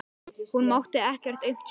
Hún mátti ekkert aumt sjá.